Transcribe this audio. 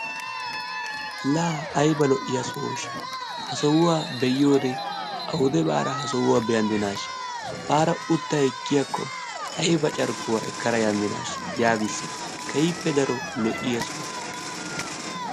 La ayba lo'iya sohosha. Ha sohuwa be'iyode awude baada ha sohuwa beandinasha; baada utta ekkiyako ayba carkkuwa ekkada yandinasha yaagises. Keehippe daro lo'iya soho.